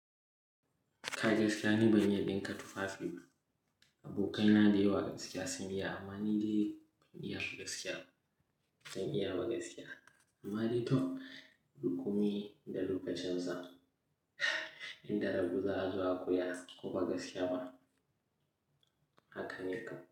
Kai gaskiya ni ban iya ɗinka tufafi bah abokaina da yawa gaskiya sun iya. Amma ni dai ban iya ba gaskiya, ban iya ba gaskiya. Amma dai to, duk komi da lokacin sa, in da rabo za'a zo a koya ko ba gaskiya ba haka ne kam.